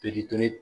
Pikiri kelen